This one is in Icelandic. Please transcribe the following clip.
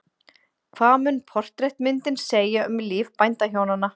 Hvað mun portrettmyndin segja um líf bændahjónanna?